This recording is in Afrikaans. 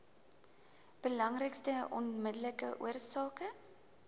belangrikste onmiddellike oorsake